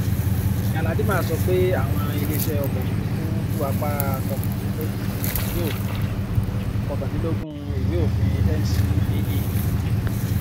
galadima sọ pé àwọn ilé iṣẹ ọkọ òfurufú ń rú apá kọkàndínlógún ìwé òfin kọkàndínlógún ìwé òfin ncaa